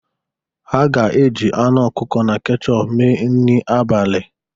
Ha ga-eji anụ ọkụkọ na kechọp mee nri abalị.